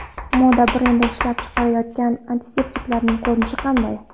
Moda brendi ishlab chiqarayotgan antiseptiklarning ko‘rinishi qanday?.